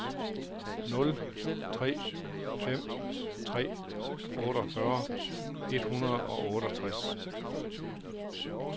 nul tre fem tre otteogfyrre et hundrede og otteogtres